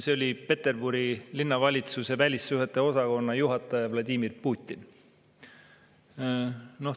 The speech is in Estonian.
See oli Peterburi linnavalitsuse välissuhete osakonna juhataja Vladimir Putin.